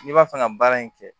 N'i b'a fɛ ka baara in kɛ